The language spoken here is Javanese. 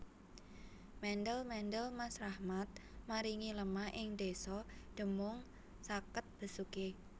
Mendel mendel Mas Rahmat maringi lemah ing desa Demung sakket Besuki